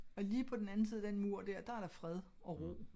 Og lige på den anden side af den mur dér der er der fred og ro